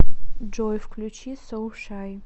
джой включи соушай